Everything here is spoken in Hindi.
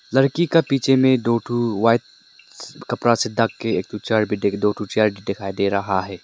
लड़की के पीछे में दो ठो व्हाइट कपड़ा से ढक के एक ठो चेयर भी दो ठो चेयर भी दिखाई दे रहा है।